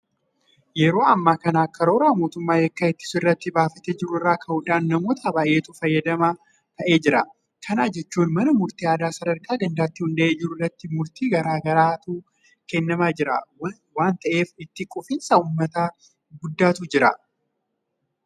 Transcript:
Yeroo ammaa kana karoora mootummaan yakka ittisuu irratti baafatee jiru irraa ka'uudhaan namoota baay'eetu fayyadamaa ta'aa jira. Kana jechuun mana murtii aadaa sadarkaa gandaatti hundaa'ee jiru irratti murtii gaarii ta'etu kennamaa jira waanta ta'eef itti quufinsa uummataa guddaatu jira.